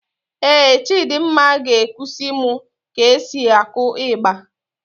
Éè Chidimma ga-ekusi mụ ka e si akụ ịgba